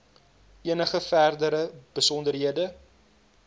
enige verdere besonderhede